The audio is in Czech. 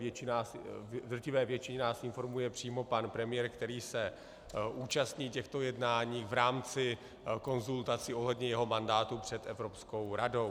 V drtivé většině nás informuje přímo pan premiér, který se účastní těchto jednání v rámci konzultací ohledně svého mandátu před Evropskou radou.